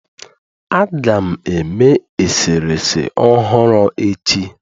Aga m eme eserese ọhụrụ echi